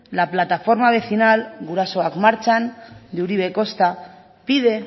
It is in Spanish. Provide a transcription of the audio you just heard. la plataforma vecinal gurasoak martxan de uribe costa pide